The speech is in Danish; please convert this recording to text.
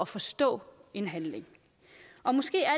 forstå en handling måske er